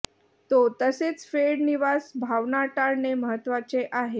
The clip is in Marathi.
तो तसेच फेड निवास भावना टाळणे महत्वाचे आहे